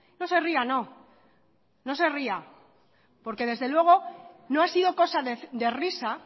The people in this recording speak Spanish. no se ría no no se ría porque desde luego no ha sido cosa de risa